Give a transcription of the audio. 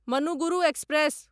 Manuguru express